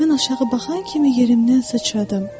Mən aşağı baxan kimi yerimdən sıçradım.